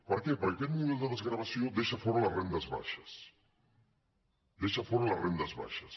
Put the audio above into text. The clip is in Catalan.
per què perquè aquest model de desgravació deixa fora les rendes baixes deixa fora les rendes baixes